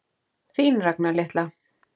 Þín, Ragna litla.